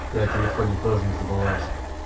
ты о телефоне тоже не забываешь